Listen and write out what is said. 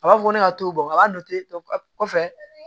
A b'a fɔ ne ka to a b'a to ten kɔfɛ